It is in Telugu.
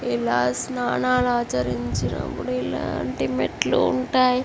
ఇలాంటి స్నానం ఆచరించినపుడు ఇలాంటి మెట్లు ఉంటాయి.